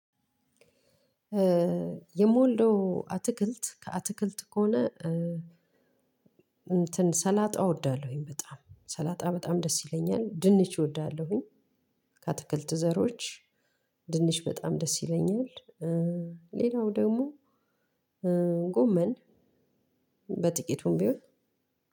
የምወደው አትክልት ከአትክልት ከሆነ እንትን ሰላጣ እወዳለሁኝ። በጣም ሰላጣ በጣም ደስ ይለኛል። ድንች እወዳለሁኝ ከአትክልት ዘሮች ድንች በጣም ደስ ይለኛል። ሌላው ደግሞ ጎመን በጥቂቱም ቢሆን